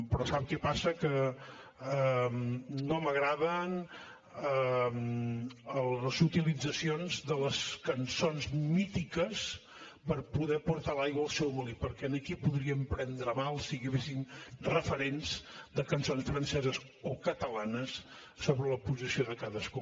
però sap què passa que no m’agraden les utilitzacions de les cançons mítiques per poder portar l’aigua al seu molí perquè aquí podríem prendre mal si agaféssim referents de cançons franceses o catalanes sobre la posició de cadascú